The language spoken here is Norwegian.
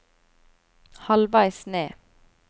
halvveis ned